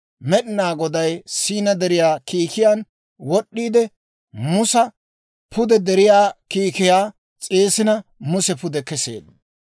Med'inaa Goday Siina Deriyaa kiikiyaan wod'd'iide, Musa pude deriyaw kiikiyaa s'eesina Muse pude keseedda.